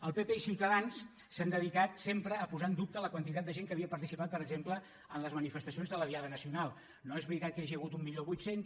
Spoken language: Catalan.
el partit popular i ciutadans s’han dedicat sempre a posar en dubte la quantitat de gent que havia participat per exemple en les mani·festacions de la diada nacional no és veritat que n’hi hagi hagut mil vuit cents